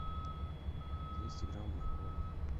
двести грамм моркови